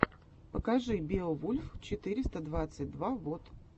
покажи беовульф четыреста двадцать два вот